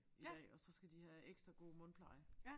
I dag og så skal de have ekstra god mundpleje